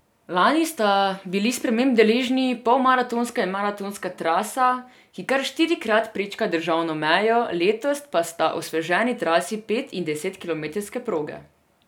Lani sta bili sprememb deležni polmaratonska in maratonska trasa, ki kar štirikrat prečka državno mejo, letos pa sta osveženi trasi pet in desetkilometrske proge.